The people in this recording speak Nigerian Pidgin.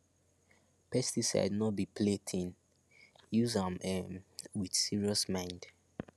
pesticide no be play thing use am um with serious mind